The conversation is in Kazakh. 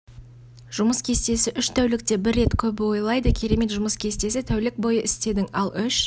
жұмыс кестесі үш тәулікте бір рет көбі ойлайды керемет жұмыс кестесі тәулік бойы істедің ал үш